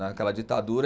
Naquela ditadura.